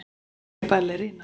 Ég er ballerína.